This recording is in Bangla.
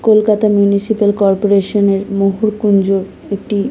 কলকাতা মিউনিসিপাল কর্পোরেশন -এর মূহুরকুঞ্জু একটি--